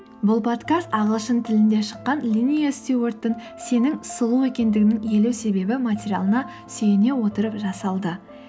бұл подкаст ағылшын тілінде шыққан линиа стюарттың сенің сұлу екендігіңнің елу себебі материалына сүйене отырып жасалды